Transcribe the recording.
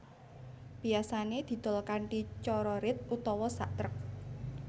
Biyasané didol kanthi cara rit utawa sak trek